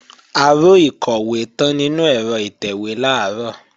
Aró ìkọ̀wé tán nínú ẹ̀rọ ìtẹ̀wé làárọ̀